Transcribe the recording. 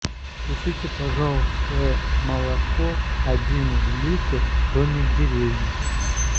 купите пожалуйста молоко один литр домик в деревне